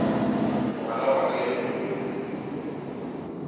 mogwera wa ka yo mogolo